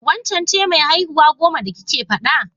Waccen ce mai haihuwa goman da kike faɗa?